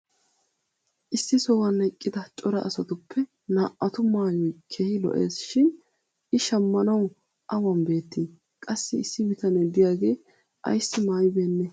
issi sohuwan eqqida cora asatuppe naa"atu maayoy keehi lo'ees shin i shammanawu awan beettii? qassi issi bitanee diyaagee ayssi maayi beennee?